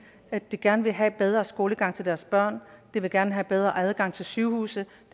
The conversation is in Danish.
de gerne vil have en bedre skolegang til deres børn de vil gerne have bedre adgang til sygehuse